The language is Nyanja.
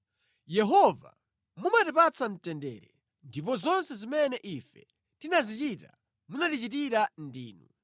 Yehova, mumatipatsa mtendere; ndipo zonse zimene ife tinazichita munatichitira ndinu.